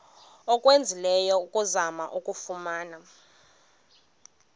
owenzileyo ukuzama ukuyifumana